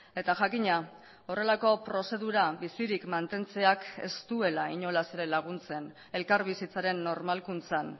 eta jakina horrelako prozedura bizirik mantentzeak ez duela inolaz ere laguntzen elkarbizitzaren normalkuntzan